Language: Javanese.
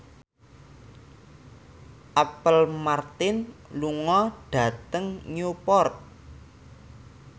Apple Martin lunga dhateng Newport